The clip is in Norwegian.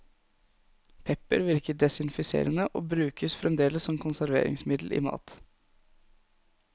Pepper virker desinfiserende, og brukes fremdeles som konserveringsmiddel i mat.